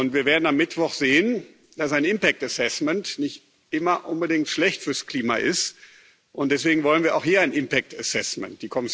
Wir werden am Mittwoch sehen, dass ein Impact Assessment nicht immer unbedingt schlecht fürs Klima ist, und deswegen wollen wir auch hier ein Impact Assessment